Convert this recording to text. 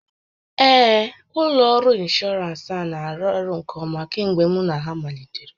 Ee, ụlọ ọrụ ịnshọọransị a na-arụ ọrụ nke ọma kemgbe mụ na ha malitere